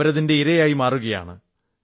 അവരിതിന്റെ ഇരയായി മാറുകയാണ്